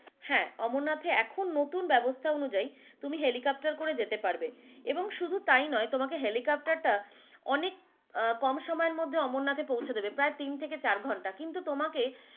হ্যাঁ অমরনাথে এখন নতুন ব্যবস্থা অনুযায়ী তুমি helicopter করে যেতে পারবে এবং শুধু তাও নাই তোমাকে helicopter টা অনেক আহ অনেক কম সময়ের মধ্যে অমরনাথ এ পৌঁছে দিবে পায় তিন থেকে চার ঘন্টা কিন্তু তোমাকে।